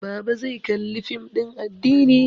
Baba zai Kalli fim din addini